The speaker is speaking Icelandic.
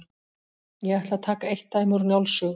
Ég ætla að taka eitt dæmi úr Njáls sögu.